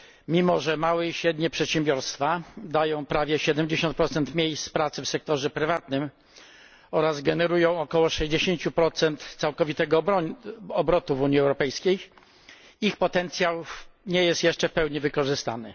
Mimo że małe i średnie przedsiębiorstwa dają prawie 70 miejsc pracy w sektorze prywatnym oraz generują około 60 całkowitego obrotu w Unii Europejskiej, ich potencjał nie jest jeszcze w pełni wykorzystany.